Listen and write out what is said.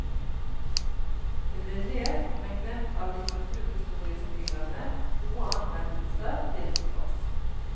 Det ble lest, men glemt av litteraturhistorieskriverne, gode anmeldelser til tross.